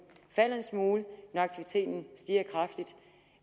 falder en smule når aktiviteten stiger kraftigt